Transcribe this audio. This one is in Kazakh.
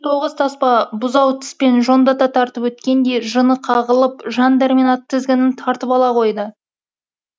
тоғыз таспа бұзау тіспен жондата тартып өткендей жыны қағылып жан дәрмен ат тізгінін тартып ала қойды